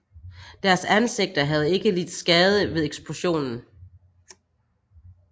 Deres ansigter havde ikke lidt skade ved eksplosionen